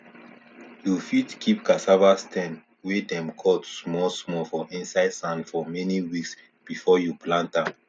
you fit keep cassava stem wey dem cut small small for inside sand for many weeks before you plant am